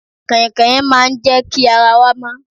Kàìnkàìn máa ń jẹ́ kí ara wa mọ́.